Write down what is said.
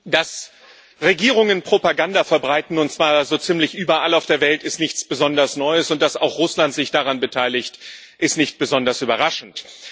Dass Regierungen Propaganda verbreiten und zwar so ziemlich überall auf der Welt ist nichts besonders Neues, und dass auch Russland sich daran beteiligt, ist nicht besonders überraschend.